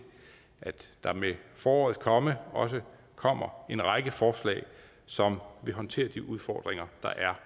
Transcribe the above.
der med forårets komme også kommer en række forslag som vil håndtere de udfordringer der er